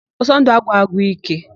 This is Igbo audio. Ọsọndụ agwụ agwụ íké.